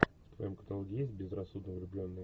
в твоем каталоге есть безрассудно влюбленные